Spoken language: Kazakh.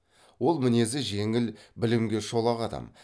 ол мінезі жеңіл білімге шолақ адам